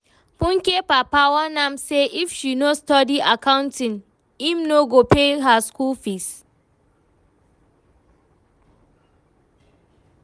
Funke papa warn am say if she no study accounting, im no go pay her school fees